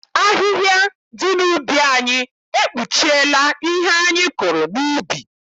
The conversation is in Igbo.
Ahịhịa dị n'ubi anyị ekpuchiela ihe anyị kụrụ n'ubi.